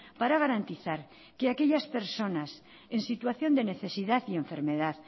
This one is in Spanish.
para garantizar que aquellas personas en situación de necesidad y enfermedad